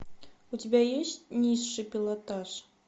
у тебя есть низший пилотаж